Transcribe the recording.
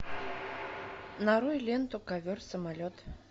нарой ленту ковер самолет